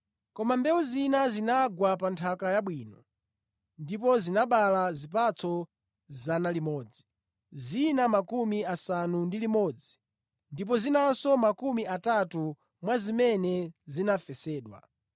Koma mbewu zina zinagwa pa nthaka yabwino ndipo zinabala zipatso 100, zina 60 ndipo zinanso makumi atatu mwa zimene zinafesedwa.